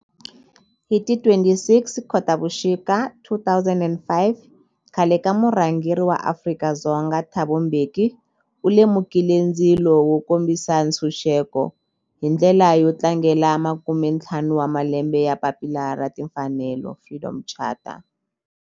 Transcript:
Hi ti 26 Khotavuxika 2005 khale ka murhangeri wa Afrika-Dzonga Thabo Mbeki u lumekile ndzilo wo kombisa ntshuxeko, hi ndlela yo tlangela makumentlhanu wa malembe ya papila ra timfanelo, Freedom Charter.